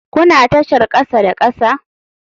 Kuna tashar kasa da kasa?